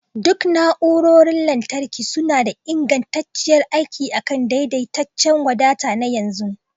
Duk na'urorin lantarki suna da ingantacciyar aiki akan daidaitaccen wadata na yanzu